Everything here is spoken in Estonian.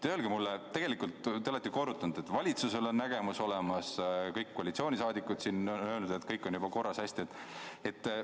Te olete ju korrutanud, et valitsusel on nägemus olemas, kõik koalitsioonisaadikud siin on öelnud, et kõik on juba korras ja hästi.